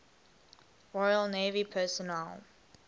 royal navy personnel